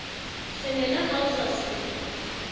semela ha o sa se